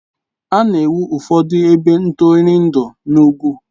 A na-ewu ụfọdụ ebe ntụrụndụ n'ugwu.